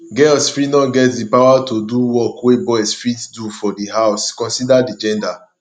girls fit no get di power to do work wey boys fit do for di house consider di gender